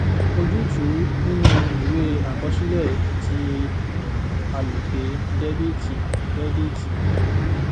ojútùú nínú ìwée àkọsílẹ ti aloke dẹ́bíìtì crediiti